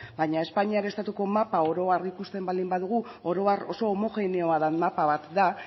baina espainiar estatuko mapa oro har ikusten baldin badugu oro har oso homogeneoa den mapa bat da